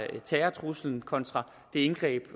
terrortruslen og kontra det indgreb